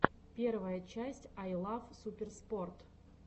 первая часть ай лав суперспорт